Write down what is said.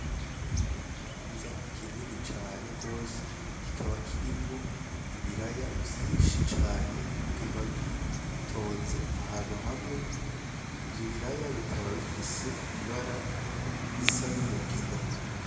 Ikibanza kinini cane gose kikaba kirimwo ibiraya vyinshi cane bikaba biri bitonze ahantu hamwe ivyo biraya bikaba bifise ibara risa n' umugina.